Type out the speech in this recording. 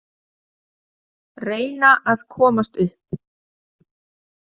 Reyna að komast upp.